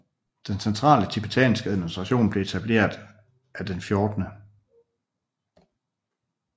Den centrale tibetanske administration blev etableret af den 14